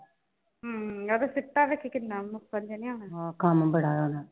ਹਮ ਓਦਾਂ ਸੀਟਾ ਵੇਖੀ ਕਿੰਨਾ ਹਾਂ ਕਮ ਬੜਾ ਆ ਓਹਨੂੰ